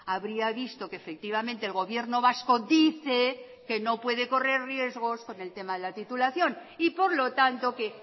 habría visto que efectivamente el gobierno vasco dice que no puede correr riesgos con el tema de la titulación y por lo tanto que